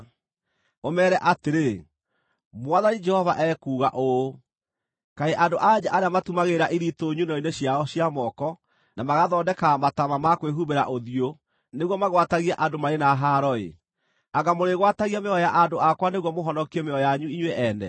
ũmeere atĩrĩ, ‘Mwathani Jehova ekuuga ũũ: Kaĩ andũ-a-nja arĩa matumagĩrĩra ithitũ nyunĩro-inĩ ciao cia moko na magathondekaga mataama ma kwĩhumbĩra ũthiũ nĩguo magwatagie andũ marĩ na haaro-ĩ. Anga mũrĩgwatagia mĩoyo ya andũ akwa nĩguo mũhonokie mĩoyo yanyu inyuĩ ene?